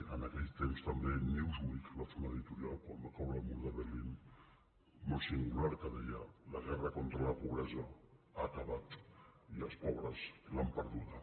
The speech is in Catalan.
en aquell temps també newsweek va fer un editorial quan va caure el mur de berlín molt singular que deia la guerra contra la pobresa ha acabat i els pobres l’han perduda